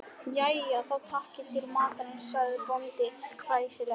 Jæja þá, takiði til matarins, sagði bóndi hressilega.